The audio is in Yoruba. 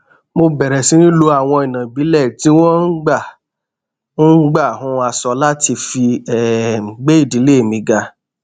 mo bèrè sí lo àwọn ònà ìbílẹ tí wón ń gbà ń gbà hun aṣọ láti fi um gbé ìdílé mi ga